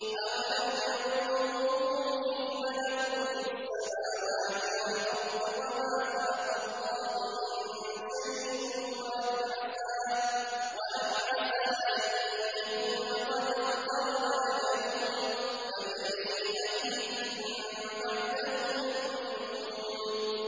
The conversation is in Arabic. أَوَلَمْ يَنظُرُوا فِي مَلَكُوتِ السَّمَاوَاتِ وَالْأَرْضِ وَمَا خَلَقَ اللَّهُ مِن شَيْءٍ وَأَنْ عَسَىٰ أَن يَكُونَ قَدِ اقْتَرَبَ أَجَلُهُمْ ۖ فَبِأَيِّ حَدِيثٍ بَعْدَهُ يُؤْمِنُونَ